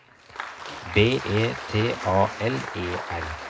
B E T A L E R